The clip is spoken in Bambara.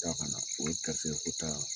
Taa ka na o ye garisikɛ ko ta